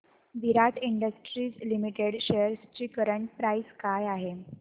विराट industries limited shares ची current price काय आहे